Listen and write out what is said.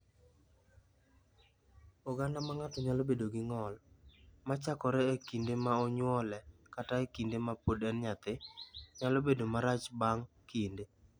"Oganda ma ng’ato nyalo bedo gi ng’ol, ma chakore e kinde ma onyuole kata e kinde ma pod en nyathi, nyalo bedo marach bang’ kinde."